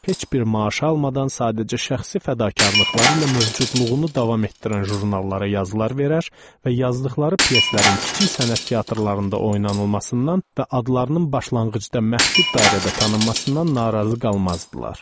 Heç bir maaş almadan sadəcə şəxsi fədakarlıqları ilə mövcudluğunu davam etdirən jurnallara yazılar verər və yazdıqları pyeslərin kiçik sənət teatrlarında oynanılmasından və adlarının başlanğıcda məhdud dairədə tanınmasından narazı qalmazdılar.